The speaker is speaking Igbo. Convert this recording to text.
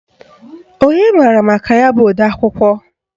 Onye maara maka ya bụ odeakwụkwọ